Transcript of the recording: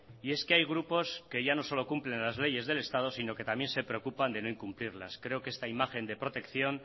y es que hay grupos que ya no solo cumplen en las leyes del estado sino que también se preocupan de no incumplirlas creo que esta imagen de protección